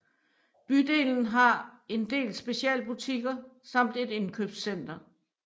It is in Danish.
Bydelen har en del specialbutikker samt et indkøbscenter